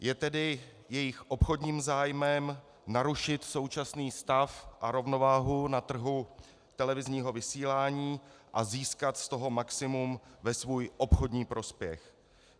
Je tedy jejich obchodním zájmem narušit současný stav a rovnováhu na trhu televizního vysílání a získat z toho maximum ve svůj obchodní prospěch.